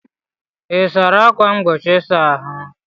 Ị sachara ákwà mgbochi ịsa ahụ?